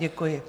Děkuji.